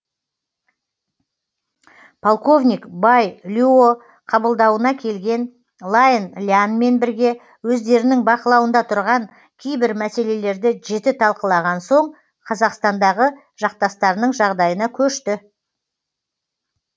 полковник бай люо қабылдауына келген лайн лянмен бірге өздерінің бақылауында тұрған кейбір мәселелерді жіті талқылаған соң қазақстандағы жақтастарының жағдайына көшті